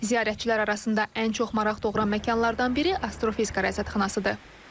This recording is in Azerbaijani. Ziyarətçilər arasında ən çox maraq doğuran məkanlardan biri Astrofizika Rəsədxanasıdır.